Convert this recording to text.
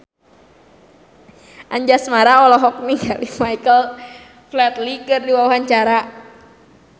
Anjasmara olohok ningali Michael Flatley keur diwawancara